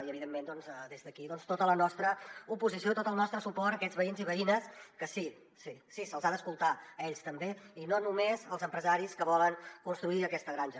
i evidentment des d’aquí tota la nostra oposició i tot el nostre suport a aquests veïns i veïnes que sí se’ls ha d’escoltar a ells també i no només als empresaris que volen construir aquesta granja